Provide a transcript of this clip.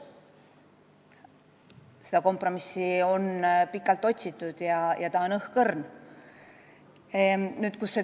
Nii et sellist kompromissi on pikalt otsitud, kuid lootus seda leida on õhkõrn.